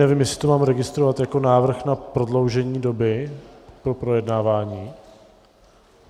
Nevím, jestli to mám registrovat jako návrh na prodloužení doby pro projednávání.